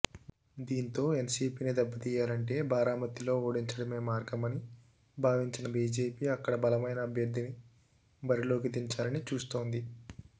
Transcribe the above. దీంతో ఎన్సిపిని దెబ్బతీయాలంటే భారామతిలో ఓడించడమే మార్గమని భావించిన బిజెపి అక్కడ బలమైన అభ్యర్థిని బరిలోకి దించాలని చూస్తోంది